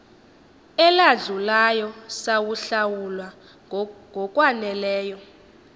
eladlulayo sawahlawula ngokwaneleyo